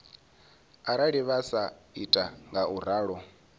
arali vha sa ita ngauralo